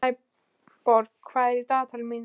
Snæborg, hvað er í dagatalinu mínu í dag?